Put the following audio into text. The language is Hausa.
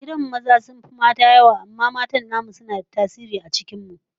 A gidan mu maza sun fi mata yawa amma matan namu suna da tasiri a cikin mu